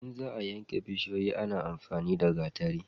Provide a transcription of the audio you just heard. in za a yanke bishiyoyi ana amfani da gatari